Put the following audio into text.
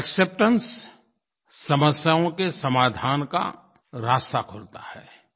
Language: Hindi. एक्सेप्टेंस समस्याओं के समाधान का रास्ता खोलता है